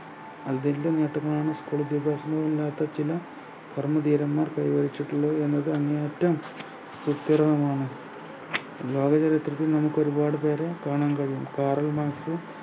അതിൻ്റെ നേട്ടങ്ങളാണ് school വിദ്യാഭ്യാസത്തിൽ ഇല്ലാത്ത ചില ധീരന്മാർ പ്രായോഗിച്ചിട്ടുള്ളത് എന്നത് അങ്ങേയറ്റം സുസ്ഥിരവുമാണ് ലോക ചരിത്രത്തിൽ നമുക്ക് ഒരുപാട് പേരെ കാണാൻ കഴിയും കാറൽ മാർക്‌സ്